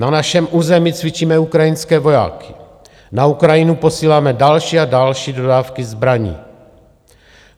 Na našem území cvičíme ukrajinské vojáky, na Ukrajinu posíláme další a další dodávky zbraní.